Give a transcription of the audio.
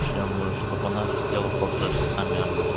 чем чтоб она сидела полтора часа мямлила